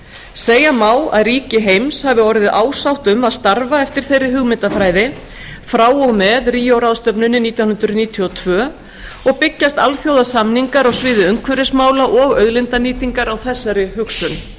segja má að ríki heims hafi orðið ásátt um að starfa eftir þeirri hugmyndafræði frá og með ríó ráðstefnunni nítján hundruð níutíu og tvö og byggjast alþjóðasamningar á sviði umhverfismála og auðlindanýtingar á þessari hugsun þótt